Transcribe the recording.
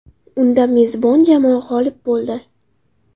Unda mezbon jamoa g‘olib bo‘ldi.